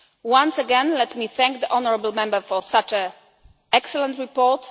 Once again let me thank the honourable Member for such an excellent report.